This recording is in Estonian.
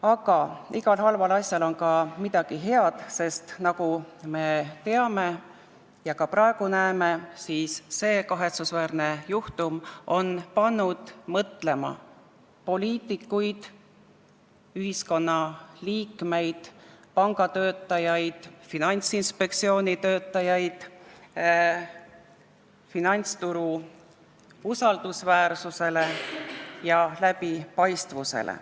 Aga igas halvas asjas on ka midagi head, sest nagu me teame ja ka praegu näeme, see kahetsusväärne juhtum on pannud poliitikuid, ühiskonna liikmeid, pangatöötajaid ja Finantsinspektsiooni töötajaid mõtlema finantsturu usaldusväärsusele ja läbipaistvusele.